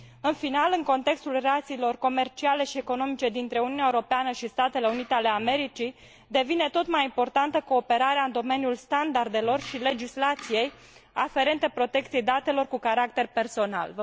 În final, în contextul relațiilor comerciale și economice dintre Uniunea Europeană și Statele Unite ale Americii, devine tot mai importantă cooperarea în domeniul standardelor și legislației aferente protecției datelor cu caracter personal.